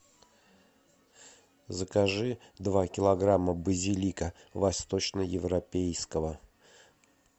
закажи два килограмма базилика восточно европейского